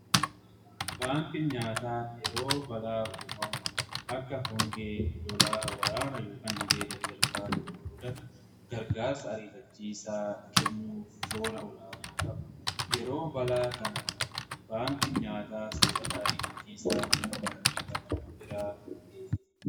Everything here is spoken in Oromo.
Baankiin nyaataa yeroo balaa uumamaa akka hongee lolaa waraana yookiin dhibee dadarbaa yeroo mudatan gargaarsa ariifachiisaa kennuuf shoora olaanaa qaba. Baankiin nyaataa soorata ariifachiisaa namoota miidhaman biraan gaha.